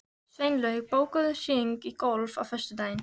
Sveinlaug, bókaðu hring í golf á föstudaginn.